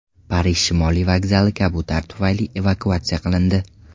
Parij Shimoliy vokzali kabutar tufayli evakuatsiya qilindi.